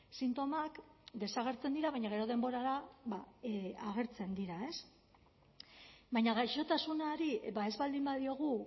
sintomak desagertzen dira baina gero denborara agertzen dira baina gaixotasunari ez baldin badiogu